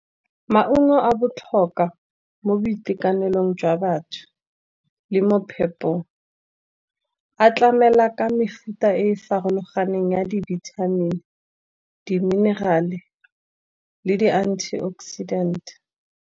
Maungo a botlhokwa mo boitekanelong jwa batho, le mo phepong a tlamela ka mefuta e farologaneng ya di-vitamin, di-mineral-e le di-antioxidant.